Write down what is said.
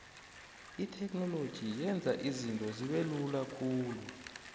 itheknoloji yenza izinto zibelula khulu